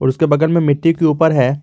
उसके बगल में मिट्टी के ऊपर है।